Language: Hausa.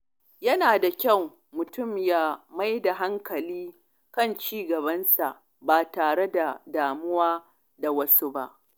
Yana da kyau mutum ya mai da hankali kan ci gabansa ba tare da damuwa da wasu ba.